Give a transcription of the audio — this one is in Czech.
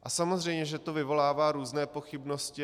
A samozřejmě že to vyvolává různé pochybnosti.